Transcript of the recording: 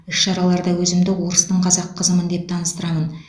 іс шараларда өзімді орыстың қазақ қызымын деп таныстырамын